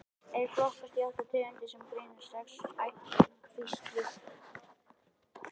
Þeir flokkast í átta tegundir sem greinast í sex ættkvíslir.